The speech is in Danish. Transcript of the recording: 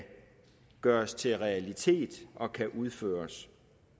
gøres til realitet og kan udføres